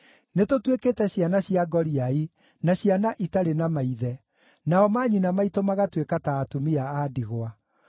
Nĩtũtuĩkĩte ciana cia ngoriai na ciana itarĩ na maithe, nao manyina maitũ magatuĩka ta atumia a ndigwa.